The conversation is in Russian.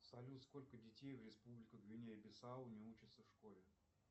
салют сколько детей в республике гвинея бисау не учатся в школе